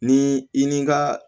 Ni i ni ka